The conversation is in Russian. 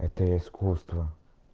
это искусство